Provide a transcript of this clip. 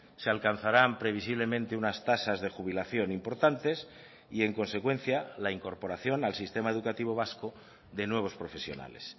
se alcanzarán previsiblemente unas tasas de jubilación importantes y en consecuencia la incorporación al sistema educativo vasco de nuevos profesionales